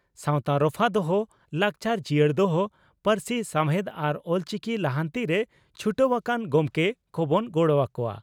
ᱥᱟᱣᱛᱟ ᱨᱚᱯᱷᱟ ᱫᱚᱦᱚ, ᱞᱟᱠᱪᱟᱨ ᱡᱤᱭᱟᱹᱲ ᱫᱚᱦᱚ, ᱯᱟᱹᱨᱥᱤ ᱥᱟᱣᱦᱮᱫ ᱟᱨ ᱚᱞᱪᱤᱠᱤ ᱞᱟᱦᱟᱱᱛᱤᱨᱮ ᱪᱷᱩᱴᱟᱹᱣ ᱟᱠᱟᱱ ᱜᱚᱢᱠᱮ ᱠᱚᱵᱚᱱ ᱜᱚᱲᱚ ᱟᱠᱚᱣᱟ ᱾